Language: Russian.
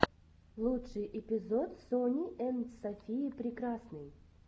лучший эпизод сони энд софии прекрасной